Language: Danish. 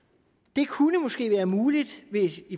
det kunne måske være muligt